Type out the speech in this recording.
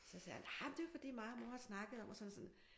Så sagde jeg nej det er jo fordi mig og mor har snakket om og sådan og sådan